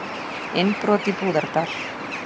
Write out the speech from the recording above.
Innbrot í Búðardal